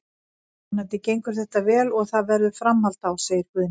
Vonandi gengur þetta vel og það verður framhald á, segir Guðni.